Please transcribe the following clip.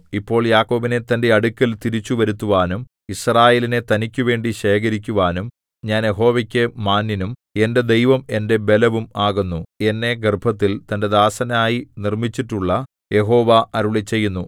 ഇപ്പോൾ യാക്കോബിനെ തന്റെ അടുക്കൽ തിരിച്ചുവരുത്തുവാനും യിസ്രായേലിനെ തനിക്കുവേണ്ടി ശേഖരിക്കുവാനും ഞാൻ യഹോവയ്ക്കു മാന്യനും എന്റെ ദൈവം എന്റെ ബലവും ആകുന്നു എന്നെ ഗർഭത്തിൽ തന്റെ ദാസനായി നിർമ്മിച്ചിട്ടുള്ള യഹോവ അരുളിച്ചെയ്യുന്നു